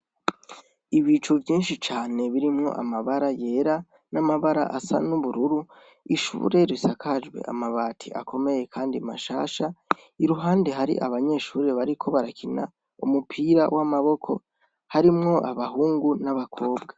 Ibicu vyinshi cane birimwo amabara yera n'amabara asa n'ubururu ishuburere sakajwe amabati akomeye, kandi mashasha iruhande hari abanyeshurire bariko barakina umupira w'amaboko harimwo abahungu n'abakobwa.